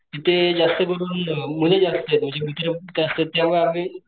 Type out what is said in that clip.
तिथे जास्त करून मुले जास्त म्हणजे मित्र जास्त त्या मुळे आम्ही.